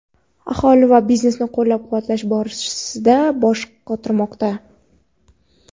aholi va biznesni qo‘llab-quvvatlash borasida bosh qotirmoqda.